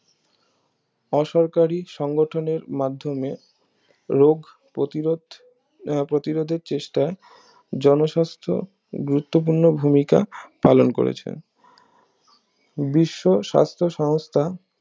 অসরকারী সংগঠনের মাধ্যমে রোগ প্রতিরোধ আহ প্রতিরোধের চেষ্টা জনস্বাস্থ গুরুত্বপূর্ণ ভূমিকা পালন করেছে বিশ্ব সাস্থ সমস্থা